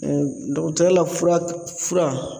dɔgɔtɔɔya la fura k fura